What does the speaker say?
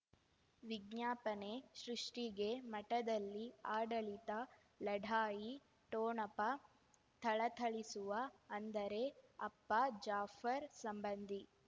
ವಿಜ್ಞಾಪನೆ ಸೃಷ್ಟಿಗೆ ಮಠದಲ್ಲಿ ಆಡಳಿತ ಲಢಾಯಿ ಠೋಣಪ ಥಳಥಳಿಸುವ ಅಂದರೆ ಅಪ್ಪ ಜಾಫರ್ ಸಂಬಂಧಿ